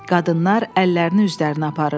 Qadınlar əllərini üzlərinə aparırdılar.